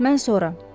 Mən sonra.